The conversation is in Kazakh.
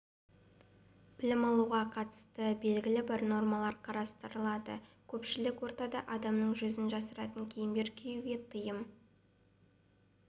білім алуға қатысты белгілі бір нормалар қарастырылады көпшілік ортада адамның жүзін жасыратын киімдер киюге тыйым